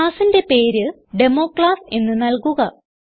classന്റെ പേര് ഡെമോക്ലാസ് എന്ന് നൽകുക